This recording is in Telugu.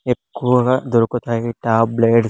ఎక్కువగా దొరుకుతాయి టాబ్లెట్స్ .